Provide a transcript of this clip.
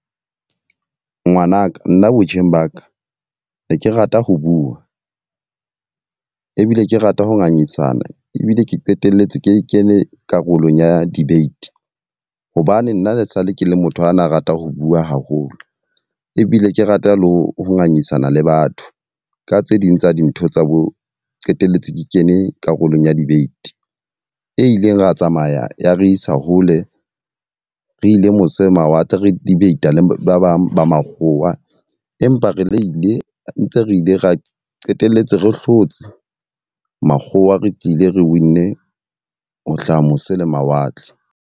Ngwanaka, nna botjheng ba ka ne ke rata ho bua ebile ke rata ho ngangisana ebile ke qetelletse ke kene karolong ya debate. Hobane nna le sa le ke le motho ana a rata ho bua haholo ebile ke rata le ho ngangisana le batho. Ka tse ding tsa dintho tsa bo qetelletse ke kene karolong ya debate, e ileng ra tsamaya ya re isa hole re ile mose mawatle. Re debate le ba bang ba makgowa, empa re le ile ntse re ile ra qetelletse re hlotse makgowa. Re tlile ra winne ho hlaha mose le mawatle.